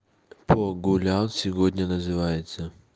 по гулял сегодня называется